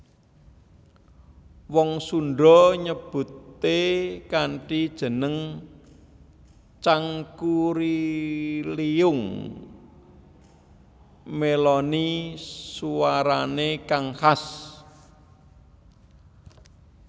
Wong Sunda nyebuté kanthi jeneng Cangkurileung mèloni suwarané kang khas